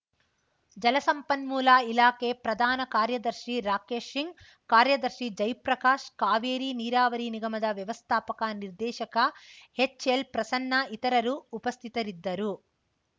ಜಲಸಂಪನ್ಮೂಲ ಇಲಾಖೆ ಪ್ರಧಾನ ಕಾರ್ಯದರ್ಶಿ ರಾಕೇಶ್‌ ಸಿಂಗ್‌ ಕಾರ್ಯದರ್ಶಿ ಜೈ ಪ್ರಕಾಶ್‌ ಕಾವೇರಿ ನೀರಾವರಿ ನಿಗಮದ ವ್ಯವಸ್ಥಾಪಕ ನಿರ್ದೇಶಕ ಹೆಚ್‌ಎಲ್‌ಪ್ರಸನ್ನ ಇತರರು ಉಪಸ್ಥಿತರಿದ್ದರು